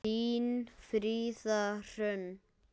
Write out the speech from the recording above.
Þín, Fríða Hrönn.